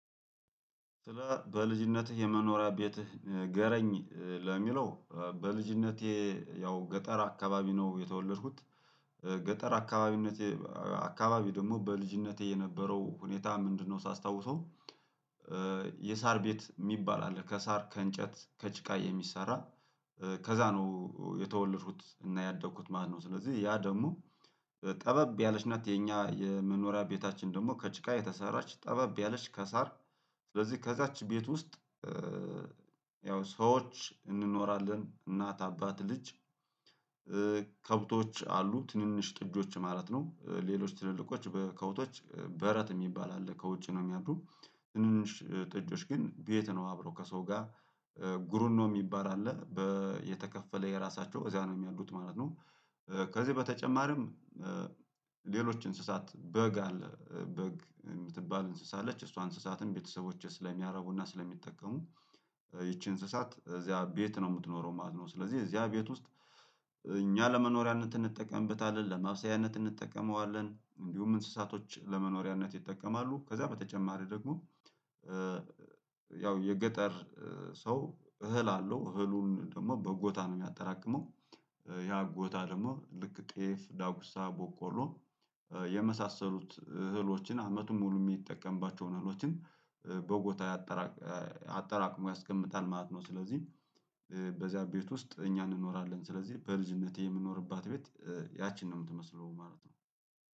ስለ በልጅነትህ የመኖሪያ ቤትህ ንገረኝ ለሚለው በልጅነቴ ያው ገጠር አካባቢ ነው የተወለድኩት ገጠር አካባቢነቴ አካባቢ ደግሞ በልጅነቴ የነበረው ሁኔታ ምንድነው? ሳስታውሰው የሳር ቤት የሚባል አለ ከሳር ከእንጨት ከጭቃ የሚሰራ ከዛ ነው የተወለድ ኩት እና ያደኩት ማለትነው። ስለዚህ ያ ደግሞ በጠበብ ያለች ናት የኛ የመኖሪያ ቤታችን ደግሞ ከጭቃ የተሰራች ጠበብ ያለች ከሳር ስለዚህ ከዛች ቤት ውስጥ ያው ሰዎች እንኖራለን እናት አባት ልጅ። ከብቶች አሉ ትንንሽ ጥጆች ማለት ነው ሌሎች ትልልቆች ከብቶች በረት የሚባል አለ ከውጭ ነው የሚያድሩ ትንንሽ ጥጆች ግን ቤት ነው አብሮ ከሰው ጋር ጉርኖ የሚባል አለ በየተከፈለ የራሳቸው እዚያ ነው የሚያድሩት ማለት ነው። ከዚህ በተጨማሪም ሌሎች እንስሳት በግ አለ በግ የምትባል እንስሳ አለች እሷ እንስሳትን ቤተሰቦቼ ስለሚያረቡና ስለሚጠቀሙ ይቺ እንስሳት እዚያ ቤት ነው የምትኖረው ማለት ነው። ስለዚህ እዚያ ቤት ውስጥ እኛ ለመኖሪያነት እንጠቀምበታለን ለማብሰያነት እንጠቀመዋለን እንዲሁም እንስሳቶች ለመኖሪያነት ይጠቀማሉ ከዛ በተጨማሪ ደግሞ። ያው የገጠር ሰው እህል አለው እህሉን ደግሞ በጎታ ነው የሚያጠራቅመው ያ ጎታ ደግሞ ልክ ጤፍ ዳጉሳ በቆሎ የመሳሰሉት እህሎችን አመቱን ሙሉ የሚጠቀምባቸውን እህሎችን በጎታ ያጠራ አጠራቅሞ ያስቀምጣል ማለት ነው። ስለዚህ በዚያ ቤት ውስጥ እኛ እንኖራለን ስለዚህ በልጅነቴ የምንኖርባት ቤት ያቺን ነው የምትመስለው ማለት ነው